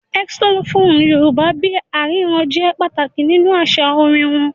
Xylophone Yorùbá bí i “àrírà” jẹ́ pàtàkì nínú àṣà orin wọn.